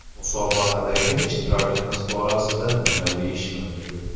Musobaqadagi ishtirokimiz borasida nima deyish mumkin?